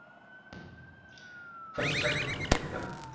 Hvert sækir þú peningana?